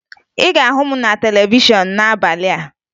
Ị ga-ahụ m na televishọn n'abalị a